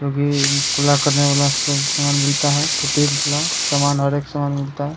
जोकि कुल्ला करने वाला सब सामान मिलता है टूटी वाला सामान हर एक समान मिलता है ।